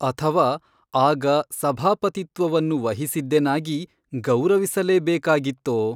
ಅಥವಾ ಆಗ ಸಭಾಪತಿತ್ವವನ್ನು ವಹಿಸಿದ್ದೆನಾಗಿ ಗೌರವಿಸಲೇ ಬೇಕಾಗಿತ್ತೋ?